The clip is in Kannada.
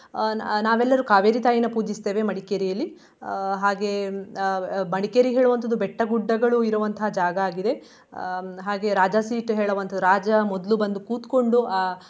ಅಹ್ ನಾವ್~ ನಾವೆಲ್ಲರೂ ಕಾವೇರಿ ತಾಯಿನಾ ಪೂಜಿಸ್ತೇವೆ ಮಡಿಕೇರಿಯಲ್ಲಿ. ಅಹ್ ಹಾಗೆ ಅಹ್ ಮಡಿಕೇರಿ ಹೇಳುವಂತದು ಬೆಟ್ಟ, ಗುಡ್ಡಗಳು ಇರುವಂತಹ ಜಾಗ ಆಗಿದೆ. ಅಹ್ ಹಾಗೆ ರಾಜಾಸೀಟ್ ಹೇಳುವಂತದು ರಾಜ ಮೊದ್ಲು ಬಂದ್ ಕುತ್ಕೊಂಡು.